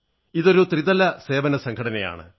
ഇതൊരു ത്രിതല സേവന സംഘടനയാണ്